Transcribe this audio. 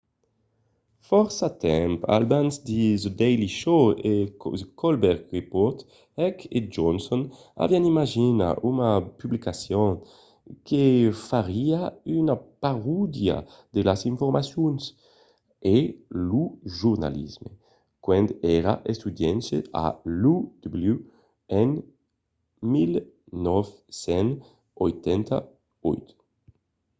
fòrça temps abans the daily show e the colbert report heck e johnson avián imaginat una publicacion que fariá una parodia de las informacions—e lo jornalisme— quand èran estudiants a l'uw en 1988